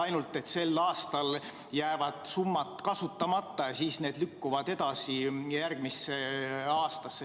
Ainult et sel aastal jäävad summad kasutamata ja need lükkuvad edasi järgmisse aastasse.